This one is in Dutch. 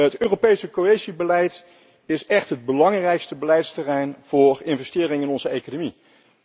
Het Europese cohesiebeleid is echt het belangrijkste beleidsterrein voor investeringen in onze economie.